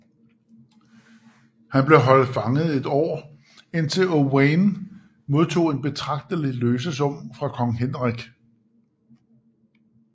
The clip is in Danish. Han blev holdt fanget i et år indtil Owain modtog en betragtelig løsesum fra kong Henrik